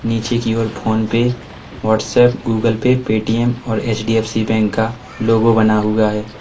नीचे की ओर PhonePe WhatsApp Google Pay Paytm और एच_डी_एफ_सी बैंक का लोगो बना हुआ है।